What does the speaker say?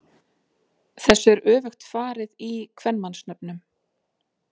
Þessu er öfugt farið í kvenmannsnöfnum.